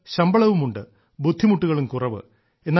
ശമ്പളവുമുണ്ട് ബുദ്ധിമുട്ടുകളും കുറവ്